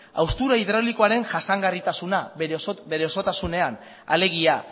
haustura hidraulikoaren jasangarritasuna bere osotasunean alegia